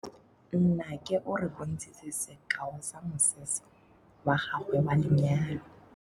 Nnake o re bontshitse sekaô sa mosese wa gagwe wa lenyalo.